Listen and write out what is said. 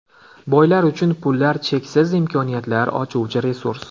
Boylar uchun pullar cheksiz imkoniyatlar ochuvchi resurs.